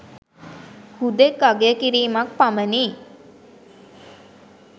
හුදෙක් අගය කිරීමක් පමණි